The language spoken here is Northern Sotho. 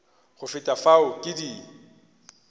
go feta fao ke di